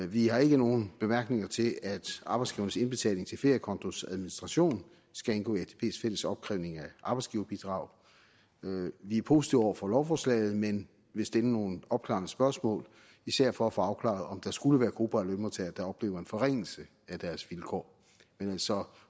vi har ikke nogen bemærkninger til at arbejdsgivernes indbetaling til feriekontos administration skal indgå i atps fælles opkrævning af arbejdsgiverbidrag vi er positive over for lovforslaget men vil stille nogle opklarende spørgsmål især for at få afklaret om der skulle være grupper af lønmodtagere der oplever en forringelse af deres vilkår så